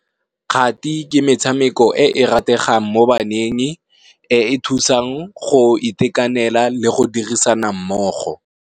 Kgati ke metshameko e e rategang mo baneng, e e thusang go itekanela le go dirisana mmogo.